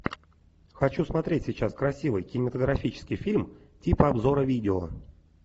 хочу смотреть сейчас красивый кинематографический фильм типа обзора видео